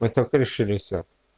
вы только решили все